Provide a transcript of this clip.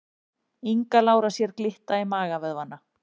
Inga Lára sér glitta í magavöðvana